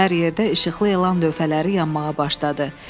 Hər yerdə işıqlı elan lövhələri yanmağa başladı.